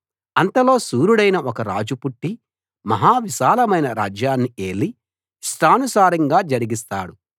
అంతలో శూరుడైన ఒక రాజు పుట్టి మహా విశాలమైన రాజ్యాన్ని ఏలి యిష్టానుసారంగా జరిగిస్తాడు